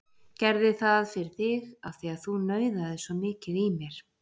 Gerði það fyrir þig af því að þú nauðaðir svo mikið í mér.